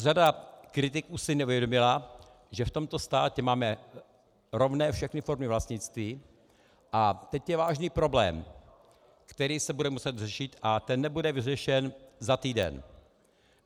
Řada kritiků si neuvědomila, že v tomto státě máme rovné všechny formy vlastnictví, a teď je vážný problém, který se bude muset řešit, a ten nebude vyřešen za týden.